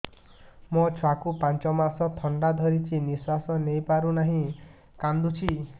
ମୋ ଛୁଆକୁ ପାଞ୍ଚ ମାସ ଥଣ୍ଡା ଧରିଛି ନିଶ୍ୱାସ ନେଇ ପାରୁ ନାହିଁ କାଂଦୁଛି